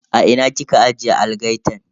A ina kika ajiye algaitan?